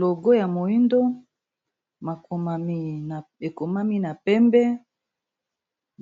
Logo ya moindo ekomami na pembe